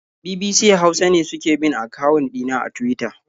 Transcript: BBC Hausa ne suke bin akawun ɗina a Tuwita.